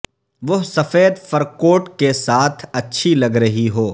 وہ سفید fur coat کے ساتھ اچھی لگ رہی ہو